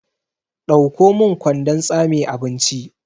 Ɗauko min kwandon tsame abinci!